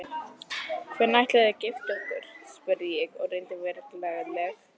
Hvenær ætlið þið að gifta ykkur? spurði ég og reyndi að vera glaðleg.